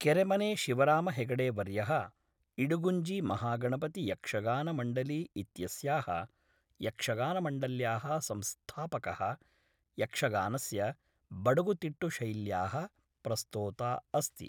केरेमने शिवराम हेगडेवर्यः, इडुगुञ्जीमहागणपतियक्षगानमण्डली इत्यस्याः यक्षगानमण्डल्याः संस्थापकः यक्षगानस्य बडगुतिट्टु शैल्याः प्रस्तोता अस्ति।